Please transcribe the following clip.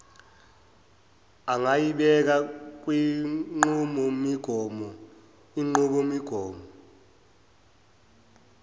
angayibeka kwinqubomigomo inqubomigomo